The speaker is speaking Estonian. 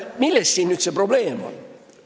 Milles siin üldse probleem on?